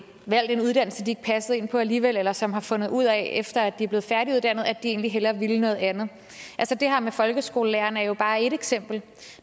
valgt en uddannelse de ikke passede ind på alligevel eller som har fundet ud af efter at de er blevet færdiguddannet at de egentlig hellere ville noget andet det her med folkeskolelærerne er jo bare et eksempel